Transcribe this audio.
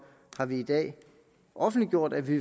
har vi i dag offentliggjort at vi